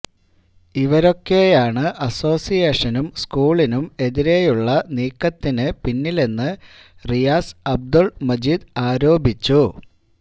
ഇവരൊക്കെയാണ് അസോസിയേഷനും സ്കൂളിനും എതിരെയുള്ള നീക്കത്തിന് പിന്നിലെന്ന് റിയാസ് അബ്ദുല് മജീദ് ആരോപിച്ചു